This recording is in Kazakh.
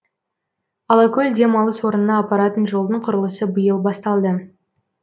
алакөл демалыс орнына апаратын жолдың құрылысы биыл басталды